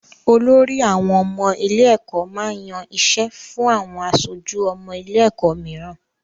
Olorí àwọn ọmọ ilé-ẹ̀kọ́ máa ń yan iṣẹ́ fún àwọn aṣojú ọmọ ilé-ẹ̀kọ́ mìíràn.